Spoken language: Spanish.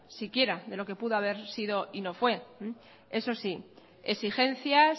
siquiera de lo que pudo haber sido y no fue eso sí exigencias